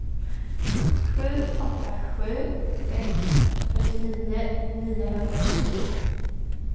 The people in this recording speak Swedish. sju åtta sju sex fyrtionio niohundratjugonio